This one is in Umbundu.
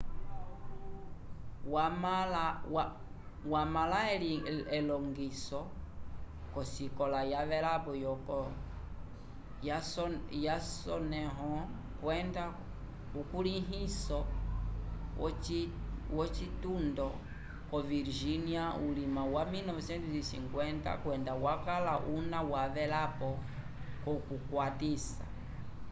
wamãla elongiso k'osikola yavelapo yasoneho kwenda ukulihiso v'ocitundo co virgínia vulima wa 1950 kwenda wakala una wavelapo k'okukwatisa